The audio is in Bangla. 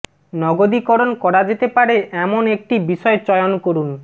নগদীকরণ করা যেতে পারে এমন একটি বিষয় চয়ন করুন